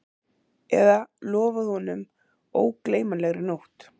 Eða lofað honum ógleymanlegri nótt